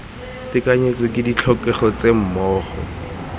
tekanyetso ke ditlhokego tse mmogo